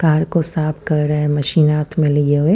Car को साफ कर रहा है मेसिन हात में लिए हुए।